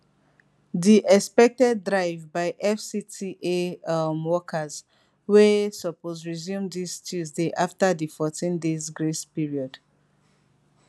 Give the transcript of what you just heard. di expected drive by fcta um workers wey um suppose resume dis tuesday afta di 14 days grace period